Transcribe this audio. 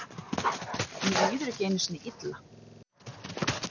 Mér líður ekki einu sinni illa.